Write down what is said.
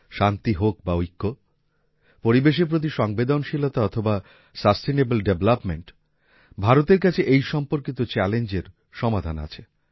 শান্তি হোক বা ঐক্য পরিবেশের প্রতি সংবেদনশীলতা অথবা সাসটেনেবল ডেভেলপমেন্ট ভারতের কাছে এই সম্পর্কিত চ্যালেঞ্জের সমাধান আছে